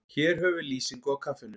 Hér höfum við lýsingu á kaffinu.